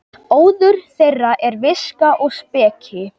Óður þeirra er viska og speki.